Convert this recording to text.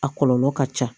A kɔlɔlɔ ka ca